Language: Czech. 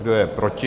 Kdo je proti?